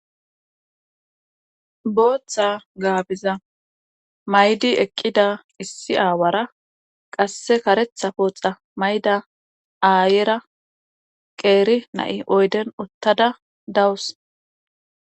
booththa gaabiza maydi eqqida issi aawara qasse karetha pooxa mayda aayera qeeri na7i oyden ottada dawus